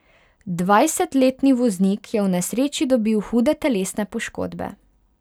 Dvajsetletni voznik je v nesreči dobil hude telesne poškodbe.